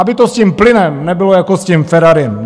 Aby to s tím plynem nebylo jako s tím Ferrari.